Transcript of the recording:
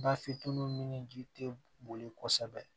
Bafin ni ji tɛ boli kosɛbɛ